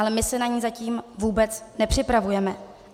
Ale my se na ni zatím vůbec nepřipravujeme.